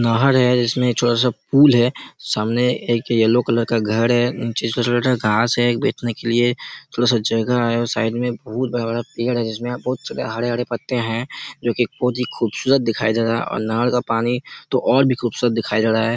नहर जिसमें छोटा-सा पूल हैं सामने एक येलो कलर का घर हैं जिसमे छोटा-छोटा घास हैं बैठने के लिए थोड़ा सा जगह हैं उस साइड में बहुत बड़ा-बड़ा पेड़ हैं जिसमें बहुत ज्यादा हरे-हरे पत्ते हैं जो की बहुत ही खूबसूरत दिखाई दे रहा हैं और नहर का पानी तो और भी खूबसूरत दिखाई दे रहा हैं।